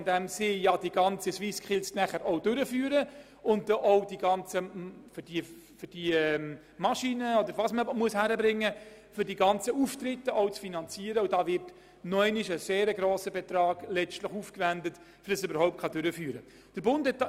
einerseits, indem sie die SwissSkills durchführen und dabei die Infrastruktur in Form von Maschinen und anderem bereitstellen, und anderseits mit hohen finanziellen Beiträgen für die Durchführung der entsprechenden Auftritte an diesem Anlass.